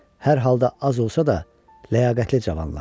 Hər halda az olsa da, ləyaqətli cavanlardır.